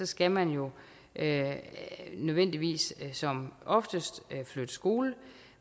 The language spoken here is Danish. skal man jo nødvendigvis som oftest flytte skole